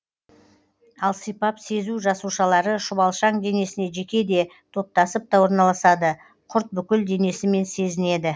ал сипап сезу жасушалары шұбалшаң денесіне жеке де топтасып та орналасады құрт бүкіл денесімен сезінеді